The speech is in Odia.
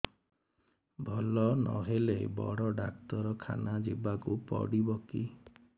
ଭଲ ନହେଲେ ବଡ ଡାକ୍ତର ଖାନା ଯିବା କୁ ପଡିବକି